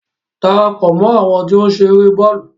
Darapọ̀ mọ àwọn ti o nṣere bọọlu!